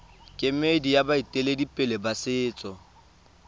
kemedi ya baeteledipele ba setso